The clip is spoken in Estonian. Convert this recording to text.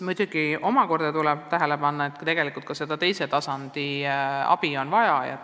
Samas tuleb tähele panna sedagi, et tegelikult ka seda teise tasandi abi on vaja.